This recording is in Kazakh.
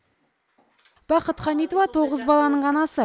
бақыт хамитова тоғыз баланың анасы